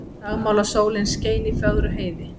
Dagmálasólin skein í fögru heiði.